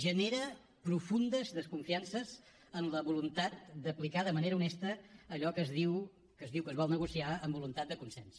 genera profundes desconfiances en la voluntat d’aplicar de manera honesta allò que es diu que es vol negociar amb voluntat de consens